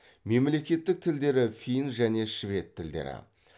мемлекеттік тілдері фин және швед тілдері